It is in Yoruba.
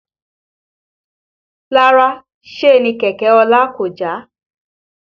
Rárá Síènì kẹ̀kẹ́ ọlá kò já